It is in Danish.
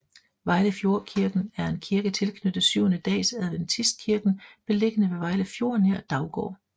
Vejlefjordkirken er en kirke tilknyttet Syvende Dags Adventistkirken beliggende ved Vejle Fjord nær Daugård